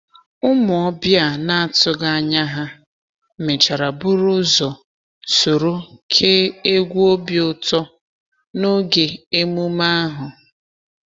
Ụmụ ọbịa na-atụghị anya ha mechara buru ụzọ soro kee egwu obi ụtọ n’oge emume ahụ.